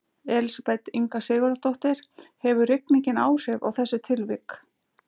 Elísabet Inga Sigurðardóttir: Hefur rigningin áhrif á þessi tilvik?